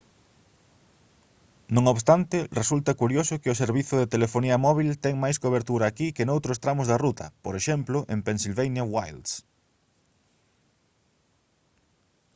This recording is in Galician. non obstante resulta curioso que o servizo de telefonía móbil ten máis cobertura aquí que noutros tramos da ruta por exemplo en pennsylvania wilds